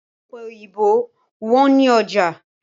Ọ̀pẹ òyìnbó wọ́n ní ọjà